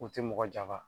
U tɛ mɔgɔ janfa